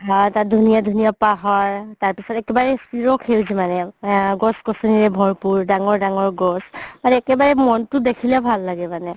তাত ধূনীয়া ধূনীয়া পাহাৰ তাৰ পিছতে কিবা এই চিৰ সেউজি মানে গছ গছনি ভৰপুৰ ডাঙৰ ডাঙৰ গছ মানে একেবাৰে মনতো দেখিলে ভালে লাগে মানে